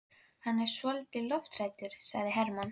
Hann er svolítið lofthræddur, sagði Hermann.